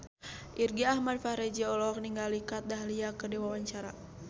Irgi Ahmad Fahrezi olohok ningali Kat Dahlia keur diwawancara